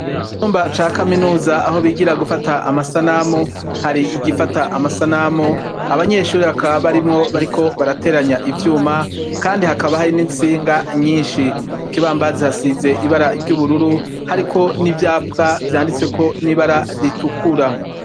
Icumba ca kaminuza aho bigira gufata amasanamu, hari igifata amasanamu, abanyeshure bakaba barimwo, bariko barateranya ivyuma, kandi hakaba hari n'intsinga nyinshi, ku kibambazi hasize ibara ry'ubururu, hariko n'ivyapwa vyanditse n'ibara ritukura.